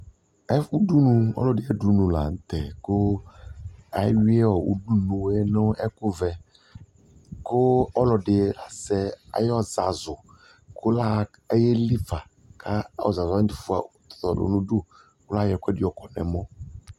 Ɛ udunu ɔlɔdɩ ay'udunu la nʋ tɛ, kʋ ayuɩ ɔ udunue nʋ ɛkʋvɛ Kʋ ɔlɔdɩ azɛ ay'ɔzazʋ kʋ la aye lifa ka ɔzazʋwanɩ fʋa tɔlʋ n'udu , layɔ ɛkʋɛdɩ yɔkɔdʋ n'ɛmɔ